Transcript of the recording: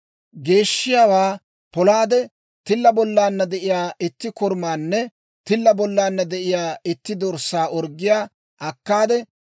Geeshshiyaawaa polaade, tilla bollaanna de'iyaa itti korumaanne tilla bollaanna de'iyaa itti dorssaa orggiyaa akkaade,